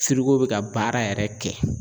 Firiko bɛ ka baara yɛrɛ kɛ.